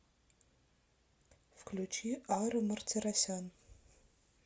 включи ара мартиросян